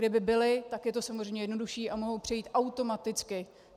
Kdyby byly, tak je to samozřejmě jednodušší a mohou přejít automaticky.